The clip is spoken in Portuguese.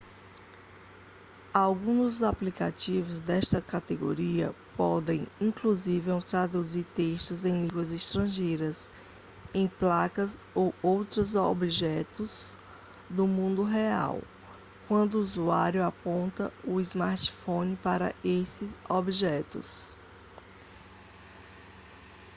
alguns dos aplicativos desta categoria podem inclusive traduzir textos em línguas estrangeiras em placas ou outros objetos do mundo real quando o usuário aponta o smartphone para esses objetos